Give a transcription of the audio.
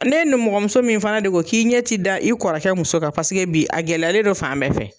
N'e nimɔgɔmuso min fana de ko k'i ɲɛ te da i kɔrɔkɛ muso kan paseke bi a gɛlɛyalen don fan bɛɛ fɛ